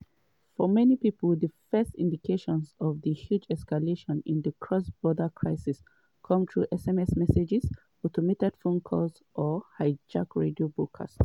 for many pipo di first indications of di huge escalation in di cross-border crisis come through sms messages automated phone calls or hijacked radio broadcasts.